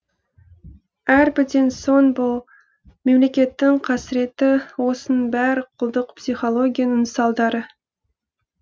әрбірден соң бұл мемлекеттің қасыреті осының бәрі құлдық психологияның салдары